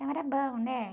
Então era bom, né?